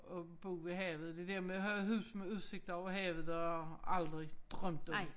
At bo ved havet det dér med at have hus med udsigt over havet det har jeg aldrig drømt om